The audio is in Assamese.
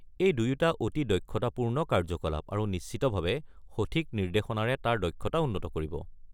এই দুয়োটা অতি দক্ষতাপূৰ্ণ কাৰ্যকলাপ, আৰুনিশ্চিতভাৱে সঠিক নিৰ্দেশনাৰে তাৰ দক্ষতা উন্নত কৰিব।